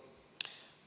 Palun!